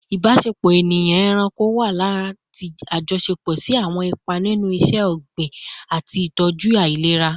Ibasepo eniyan-eranko wa lati ajọṣepọ si awọn ipa ninu iṣẹ-ogbin ati itọju ailera